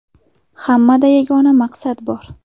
Hammada yagona maqsad bor.